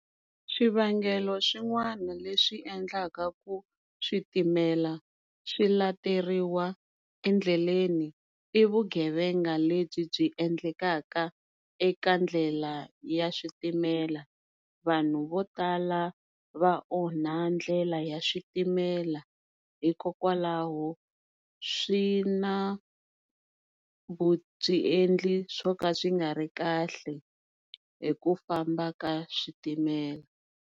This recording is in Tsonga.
Swivangelo swin'wana leswi endlaka ku switimela swi lateriwa endleleni i vugevenga lebyi byi endlekaka eka ndlela ya switimela vanhu vo tala va onha ndlela ya switimela hikokwalaho swi na vuendli swo ka swi nga ri kahle hi ku famba ka switimela.